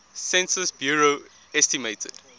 census bureau estimated